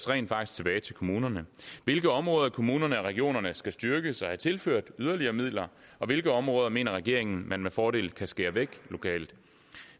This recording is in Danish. rent faktisk tilbage til kommunerne hvilke områder i kommunerne og regionerne skal styrkes og have tilført yderligere midler og hvilke områder mener regeringen man med fordel kan skære væk lokalt